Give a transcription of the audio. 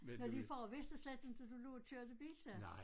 Men din far vidste slet ikke du lå og kørte bil da?